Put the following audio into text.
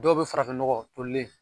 Dɔw be farafin nɔgɔ tolilen